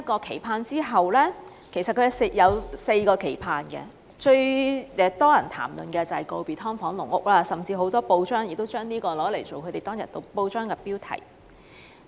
其實，他共有4個期盼，當中最多人談論的，便是告別"劏房"和"籠屋"，甚至當天有不少報章亦以此為頭條標題。